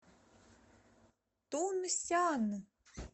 тунсян